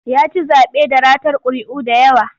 Ya ci zaɓe da ratar ƙuri'u da yawa.